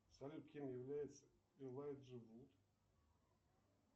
салют кем является элайджа вуд